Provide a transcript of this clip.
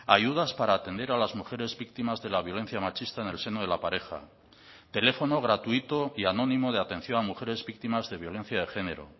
ayudas para atender a las mujeres víctimas de la violencia machista en el seno de la pareja teléfono gratuito y anónimo de atención a mujeres víctimas de violencia de género